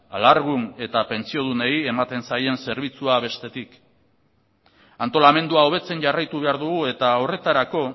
alargun eta pentsiodunei ematen zaien zerbitzua bestetik antolamendua hobetzen jarraitu behar dugu eta horretarako